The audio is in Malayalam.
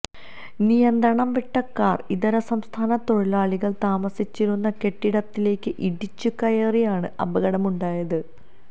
നിയന്ത്രണം വിട്ട കാർ ഇതര സംസ്ഥാന തൊഴിലാളികൾ താമസിച്ചിരുന്ന കെട്ടിടത്തിലേക്ക് ഇടിച്ച് കയറിയാണ് അപകടം ഉണ്ടായത്